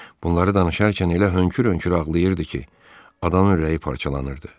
Bunları danışarkən elə hönkür-hönkür ağlayırdı ki, adamın ürəyi parçalanırdı.